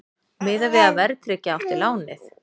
Miðað við að verðtryggja átti lánið